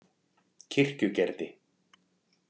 Kirkjugerði